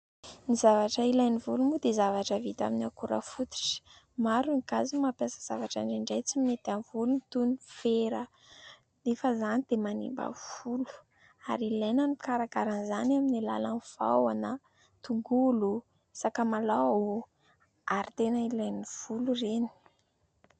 Ny zavatra ilain' ny volo moa dia zavatra vita amin'ny akora fototra. Maro ny gasy mampiasa zavatra indraindray tsy mety amin' ny volony toy ny fera nefa izany dia manimba volo ary ilaina ny mikarakaran' izany amin' ny alalan' ny vaoana, tongolo, sakamalaho ary tena ilain'ny volo ireny.